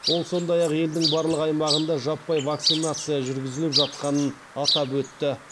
ол сондай ақ елдің барлық аймағында жаппай вакцинация жүргізіліп жатқанын атап өтті